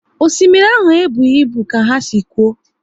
Osimiri ahụ e bụghị ibu ka ha si kwuo